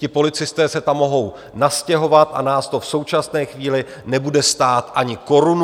Ti policisté se tam mohou nastěhovat a nás to v současné chvíli nebude stát ani korunu.